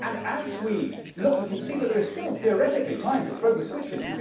As we look, we can see that there is still theoretically time to throw the switches.